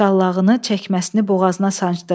Şallağını çəkməsini boğazına sancdı.